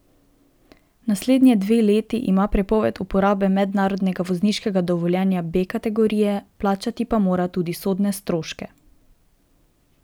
Naslednje dve leti ima prepoved uporabe mednarodnega vozniškega dovoljenja B kategorije, plačati pa mora tudi sodne stroške.